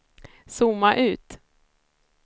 zooma ut